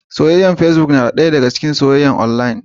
Soyyayar fecibok na ɗaya daga cikin soyyayar onlayin.